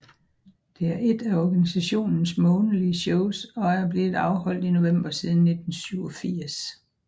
Det er ét af organisationens månedlige shows og er blevet afholdt i november siden 1987